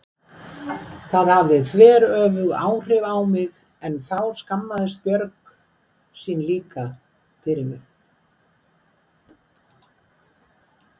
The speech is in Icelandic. Það hafði þveröfug áhrif á mig en þá skammaðist Björg sín líka fyrir mig.